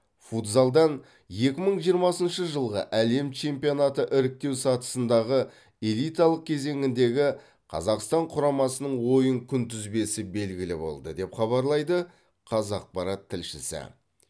футзалдан екі мың жиырмасыншы жылғы әлем чемпионаты іріктеу сатысындағы элиталық кезеңіндегі қазақстан құрамасының ойын күнтізбесі белгілі болды деп хабарлайды қазақпарат тілшісі